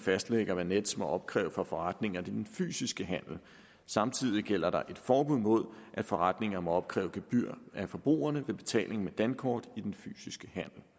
fastlægger hvad nets må opkræve for forretninger i den fysiske handel samtidig gælder der et forbud mod at forretninger må opkræve gebyr af forbrugerne ved betaling med dankort i den fysiske